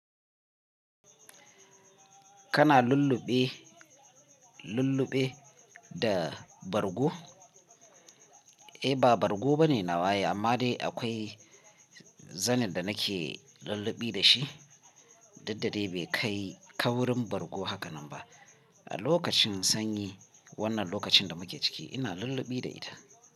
Kana lulluɓe, lulluɓe da bargo? Eh ba bargo bane nawa ai amma dai akwai zanin da nake lulluɓi da shi, duk da dai bai kai kaurin bargo haka nan ba. A lokacin sanyi, wannan lokacin da muke ciki ina lulluɓi da ita.